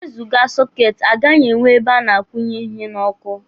E wezụga sọketi, a gaghị enwe ebe a na-akwụnye ihe n'ọkụ.